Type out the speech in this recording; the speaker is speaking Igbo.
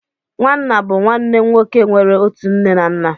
Nwanna bụ nwanne nwoke nwere otu nne na nna